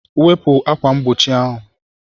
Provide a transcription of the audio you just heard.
Wepu ákwà mgbochi ahụ